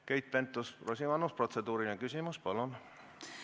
Keit Pentus-Rosimannus, protseduuriline küsimus, palun!